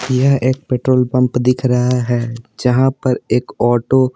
यह एक petrol pump दिख रहा है जहाँ पर एक ऑटो --